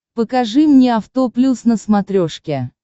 покажи мне авто плюс на смотрешке